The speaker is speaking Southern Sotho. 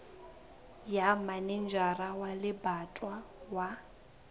ya manejara wa lebatowa wa